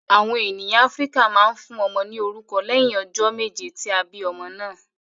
Awọn ènìyàn Áfíríkà máa ń fún ọmọ ní orúkọ lẹhin ọjọ méje tí a bí ọmọ náà